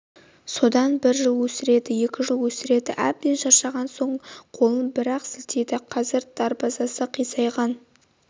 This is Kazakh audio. содан бір жыл өсіреді екі жыл өсіреді әбден шаршаған соң қолын бір-ақ сілтейді қазір дарбазасы қисайған